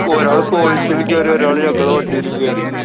ഒരാള് Qualis ലും കേറി. ഒരാള് ഞങ്ങള്‍ടെ വണ്ടിലും കേറി.